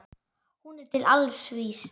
Hún er til alls vís.